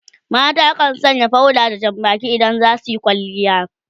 mata kan Sanya powder da Jan Baki idan za suyi kwalliya